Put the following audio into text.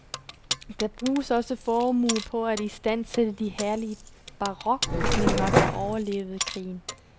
Der bruges også formuer på at istandsætte de herlige barokbygninger, der overlevede krigen.